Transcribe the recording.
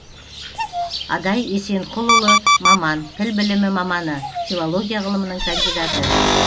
адай есенқұлұлы маман тіл білімі маманы филология ғылымының кандидаты